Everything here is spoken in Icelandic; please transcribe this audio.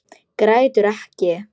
Grætur ekki.